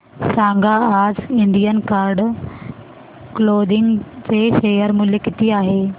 सांगा आज Indian card clothing चे शेअर मूल्य किती आहे